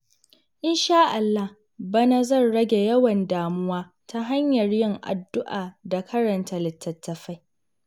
Insha Allah, bana zan rage yawan damuwa ta hanyar yin addu’a da karanta littattafai.